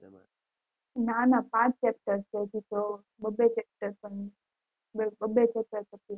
ના ના પાંચ chapter છે હજી તો બબ્બે chapter પણ બબ્બે chapter પતિયા